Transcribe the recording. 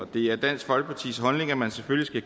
det er dansk folkepartis holdning at man selvfølgelig